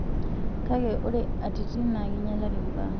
Kake ore atitin naa keinyalari mbaa.